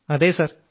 അതെ സർ